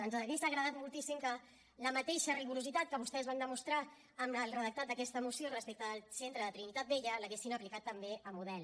ens hauria agradat moltíssim que el mateix rigor que vostès van demostrar amb el redactat d’aquesta moció respecte del centre de trinitat vella l’haguessin aplicat també a model